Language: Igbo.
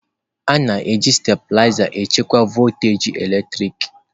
na-eji stabiliza achịkwa voltaji eletrik.